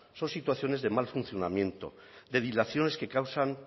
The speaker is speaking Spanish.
son situaciones de mal funcionamiento de dilaciones que causan